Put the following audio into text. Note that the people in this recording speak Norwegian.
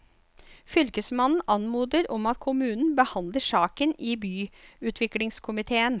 Fylkesmannen anmoder om at kommunen behandler saken i byutviklingskomiteen.